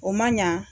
O man ɲa